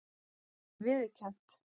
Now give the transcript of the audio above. Það sé viðurkennt